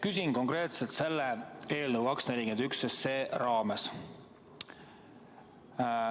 Küsin konkreetselt selle eelnõu 241 raames.